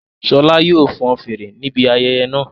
Ṣọla yóò fọn fèrè níbi ayẹyẹ náà